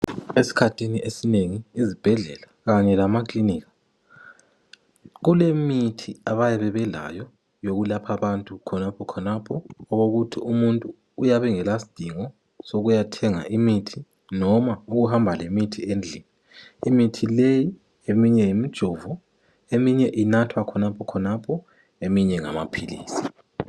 Esikhathini esinengi ezibhedlela Kanye lemakiliniki kulemithi abayabe belayo yokwelapha abantu khonapho khonapho okukuthi umuntu uyabe engelasidingo ssokuyathenga imithi noma ukuhamba lemithi endlini imithi leyi eminye yimijovo eminye inathwa khonapho khonapho eminye ngamaphilisi.